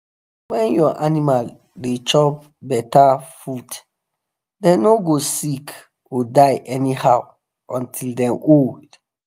when your animal da chop better foodthem no go sick or die anyhow until them old